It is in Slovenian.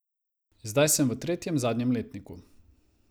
Zdaj sem v tretjem, zadnjem letniku.